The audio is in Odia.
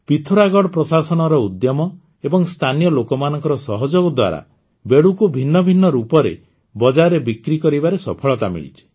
ପିଥୋରାଗଡ଼ ପ୍ରଶାସନର ଉଦ୍ୟମ ଏବଂ ସ୍ଥାନୀୟ ଲୋକମାନଙ୍କର ସହଯୋଗ ଦ୍ୱାରା ବେଡ଼ୁକୁ ଭିନ୍ନ ଭିନ୍ନ ରୂପରେ ବଜାରରେ ବିକ୍ରି କରିବାରେ ସଫଳତା ମିଳିଛି